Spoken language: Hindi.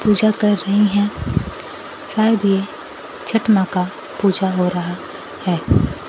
पूजा कर रही हैं शायद ये छठ मां का पूजा हो रहा है।